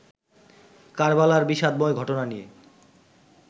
কারবালার বিষাদময় ঘটনা নিয়ে